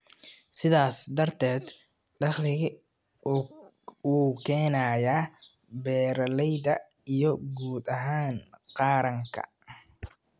sidaas darteed dakhli u keenaya beeralayda iyo guud ahaan qaranka.